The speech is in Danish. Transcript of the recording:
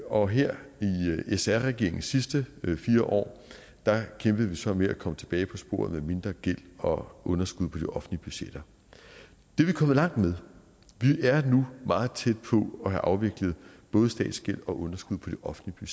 og her i sr regeringens sidste fire år kæmpede vi så med at komme tilbage på sporet med mindre gæld og underskud på de offentlige budgetter det er vi kommet langt med vi er nu meget tæt på at have afviklet både statsgæld og underskud på de offentlige